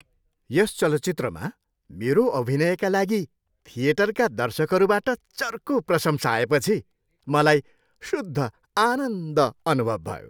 यस चलचित्रमा मेरो अभिनयका लागि थिएटरका दर्शकहरूबाट चर्को प्रशंसा आएपछि मलाई शुद्ध आनन्द अनुभव भयो।